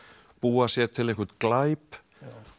búa sér til einhvern glæp og